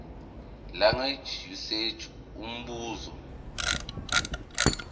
language usage umbuzo